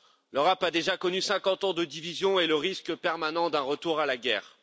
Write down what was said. L'Europe a déjà connu 50 ans de division et le risque permanent d'un retour à la guerre.